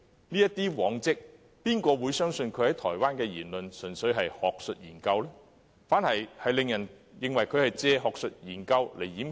根據他的往績，有誰會相信他在台灣的言論只是單純的學術研究呢？